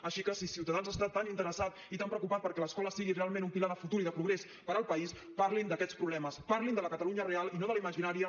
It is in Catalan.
així que si ciutadans està tan interessat i tan preocupat perquè l’escola sigui realment un pilar de futur i de progrés per al país parlin d’aquests problemes parlin de la catalunya real i no de la imaginària